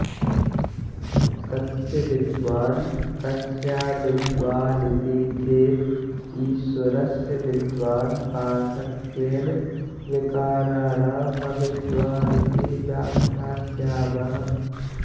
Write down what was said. कस्य विद्वान् कस्याविद्वानिति चेत् ईश्वरस्य विद्वान् पार्थक्येन विकाराणामविद्वानिति व्याख्यास्यामः